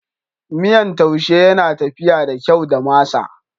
Miyan taushe yana tafiya da kyau da masa.